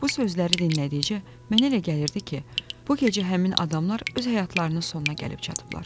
Bu sözləri dinlədikcə mənə elə gəlirdi ki, bu gecə həmin adamlar öz həyatlarının sonuna gəlib çatıblar.